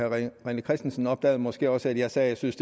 rené christensen opdagede måske også at jeg sagde at jeg synes